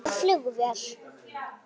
Er þetta flugvél?